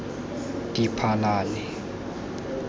diphalane